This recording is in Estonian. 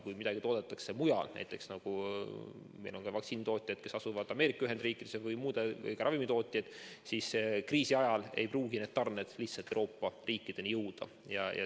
Kui midagi toodetakse mujal – on ju ka vaktsiini- ja üldse ravimitootjaid, kes asuvad Ameerika Ühendriikides või mujal, siis kriisi ajal ei pruugi nende tarned lihtsalt Euroopa riikideni jõuda.